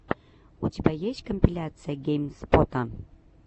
у тебя есть компиляция гейм спота